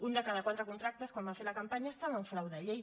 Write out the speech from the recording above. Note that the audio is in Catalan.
un de cada quatre contractes quan van fer la campanya estava en frau de llei